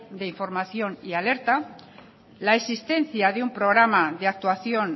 de información y alerta la existencia de un programa de actuación